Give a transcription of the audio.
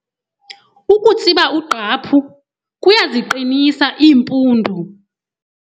Ukutsiba ugqaphu kuyaziqinisa iimpundu.